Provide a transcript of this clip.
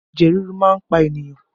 Ẹ̀jẹ̀ ríru máa ń pa ènìyàn